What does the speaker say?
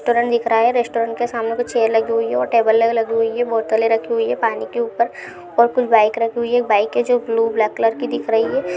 एक रेस्टोरेंट दिख रहा है रेस्टोरेंट के सामने कुछ चेयर लगी हुई है और टेबल ल लगी हुई है बोतलें रखी हुई है पानी के ऊपर और कुछ बाइक रखी हुई है एक बाइक है जो ब्लू ब्लैक कलर की दिख रही है।